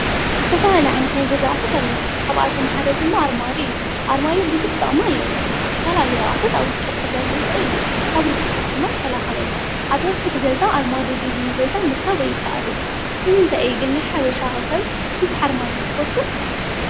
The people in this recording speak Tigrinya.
ዝተፈላለዩ ዓይነት ናይ ኣቁት ገዛ ኣለውና፣ ካብኣቶም ሓደ ድማ ኣርማድዮ እዩ። ኣርማድዮ ብዙሕ ጥቅሚ ኣለዎ፣ ዝተፈላለየ ኣቁሑት ኣውሽጡ ክሕዘልና ይክእል እዩ፣፣ካብ ርስሓት ድማ ይከላከለልና። ኣብ ሕድሕድ ገዛ ኣርማድዮ ዘይብሉ ገዛ ምርካብ ኣይካእልን እዩ። ንምንታይ እዩ ግን ናይ ሓበሻ ሰብ ብዙሕ ኣርማድዮ ዝፈትው?